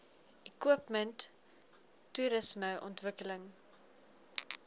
equipment toerisme ontwikkeling